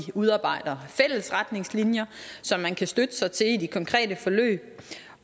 udarbejder fælles retningslinjer som man kan støtte sig til i de konkrete forløb